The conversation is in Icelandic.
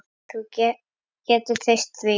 Þú getur treyst því.